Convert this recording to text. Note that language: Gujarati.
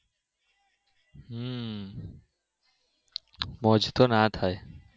હમ રોજ તો ના થાય